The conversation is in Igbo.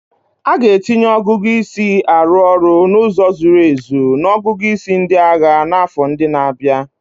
A ga-etinye ọgụgụ isi arụ ọrụ n'ụzọ zuru ezu na ọgụgụ isi ndị agha n'afọ ndị na-abịa